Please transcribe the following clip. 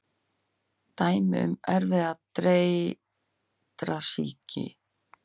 Dæmi um erfðir dreyrasýki: